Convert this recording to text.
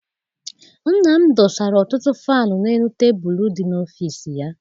Nna m dosara ọtụtụ faịlu n'elu tebulu dị n'ọfịịsi ya.